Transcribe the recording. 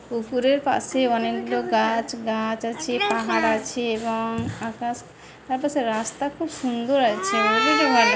পুকুরের পাশে অনেকগুলো গাছ গাছ আছে পাহাড় আছে এবং আকাশ আকাশে রাস্তা খুব সুন্দর আছে এ জন্য ভালো --